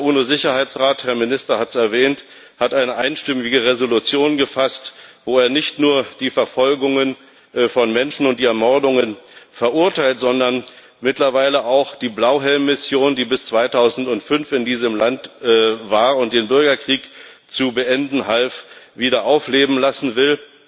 Der UNO Sicherheitsrat der Herr Minister hat es erwähnt hat eine einstimmige Resolution gefasst, wo er nicht nur die Verfolgungen von Menschen und die Ermordungen verurteilt, sondern mittlerweile auch die Blauhelmmission, die bis 2005 in diesem Land war und den Bürgerkrieg zu beenden half, wieder aufleben lassen will.